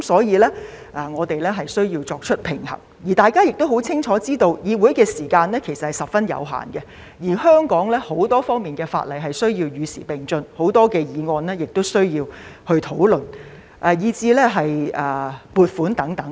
因此，我們便需要作出平衡，大家亦清楚知道，議會的時間其實是十分有限的，而香港很多方面的法例也需要與時並進，有很多議案亦需要進行討論，以及要通過撥款申請等。